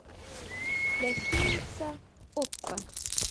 гостиница ока